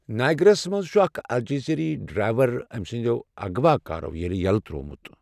نایگرس منٛز چھُ اکھ الجیرِیٲیی ڈرایور أمہِ سٕنٛدٮ۪و عغوا كارو یلہٕ ترٛوومت ۔